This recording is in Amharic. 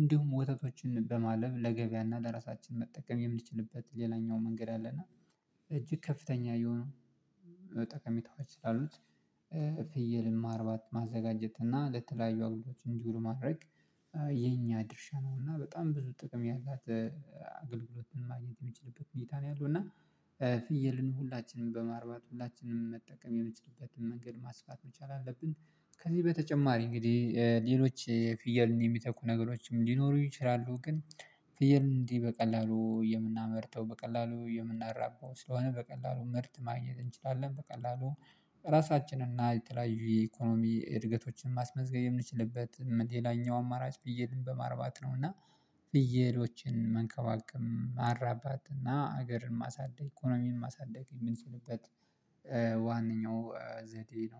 እንዲሁም ወተቶችን በማለብ ለገበያና ለራሳችን መጠቀም የምንችልበት ሌላኛው መንገድ አለና። እጅግ ከፍተኛ እየሆኑ ጠቀሜታዎች ስላሉት ፍየልም አርባት ማዘጋጀት እና ለተለያዩ አገልግሎቶች እንዲውሉ ማድረግ። የኛ ድርሻ ነው እና በጣም ብዙ ጥቅም ያላት። አገልግሎትን ማግኘት የምንችልበት ሁኔታ ነው ያለው እና ፍየልን ሁላችንም በማርባት ሁላችንም መጠቀም የምትችልበትን መንገድ ማስፋት መቻል አለብን። ከዚህ በተጨማሪ እንግዲህ ሌሎች ፍየልን የሚተኩ ነገሮችም ሊኖሩ ይችላሉ። ግን ፍየል እንዲህ በቀላሉ የምናመርተው በቀላሉ የምናራባው ስለሆነ በቀላሉ ምርት ማግኘት እንችላለን በቀላሉ ራሳችንን እና የተለያዩ የኢኮኖሚ እድገቶችን ማስመዝገብ የምንችልበት ሌላኛው አማራጭ ፍየልን በማርባት ነው። እና ፍየሎችን መንከባከብ ማራባትና ሀገርን ማሳደግ ኢኮኖሚን ማሳደግ የምንችልበት ዋነኛው ዘዴ ነው